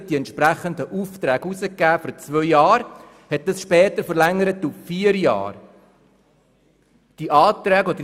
Danach wurden die entsprechenden Aufträge für zwei Jahre herausgegeben, und man hat sie später auf vier Jahre verlängert.